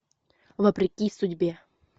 вопреки судьбе